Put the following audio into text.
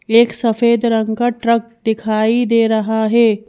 एक सफेद रंग का ट्रक दिखाई दे रहा है।